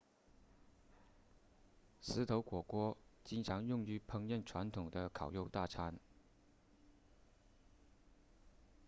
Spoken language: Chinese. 石头火锅经常用于烹饪传统的烤肉大餐